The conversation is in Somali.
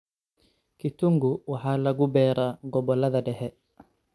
Kitungu waxa lagu beeraa gobollada dhexe.